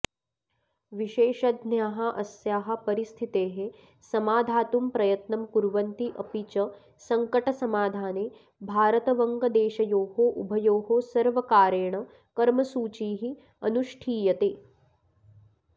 विशेषज्ञाः अस्याः परिस्थितेः समाधातुं प्रयत्नं कुर्वन्ति अपि च सङ्कटसमाधाने भारतवङ्गदेशयोः उभयोः सर्वकारेण कर्मसूचिः अनुष्ठीयते